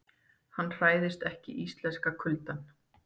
Hann hræðist ekki íslenska kuldann.